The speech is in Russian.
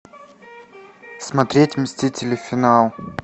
смотреть мстители финал